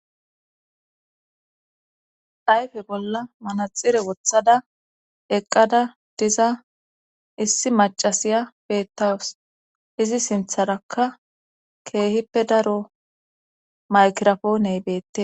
ayfe bolla manaxire wothada eqqada diza issi macasiya beettawus izi sintharakka keehippe daro makrafooney beettes